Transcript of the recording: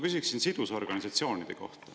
Küsiksin sidusorganisatsioonide kohta.